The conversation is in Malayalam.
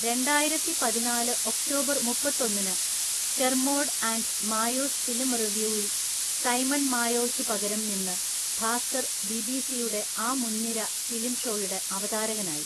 രണ്ടായിരത്തിപതിനാല് ഒക്‌ടോബർ മുപ്പത്തൊന്നിനു 'കെര്‍മോഡ് ആന്‍റ് മായോസ് ഫിലിം റിവ്യൂ'വില്‍ സൈമണ്‍ മായോയ്ക്കു പകരം നിന്ന് ഭാസ്കര്‍ ബിബിസിയുടെ ആ മുൻനിര ഫിലിം ഷോയുടെ അവതാരകനായി